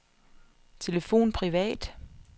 telefon privat